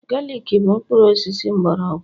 galik bụ mkpụrụ osisi mgbọrọgwụ